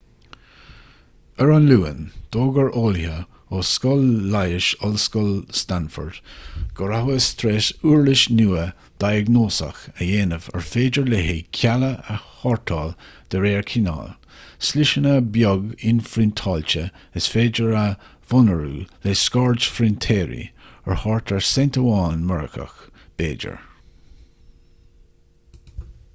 ar an luan d'fhógair eolaithe ó scoil leighis ollscoil stanford go rabhthas tar éis uirlis nua dhiagnóiseach a dhéanamh ar féidir léi cealla a shórtáil de réir cineáil sliseanna beag inphriontáilte is féidir a mhonarú le scairdphrintéirí ar thart ar ceint amháin s.a. b'fhéidir